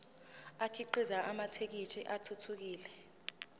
akhiqize amathekisthi athuthukile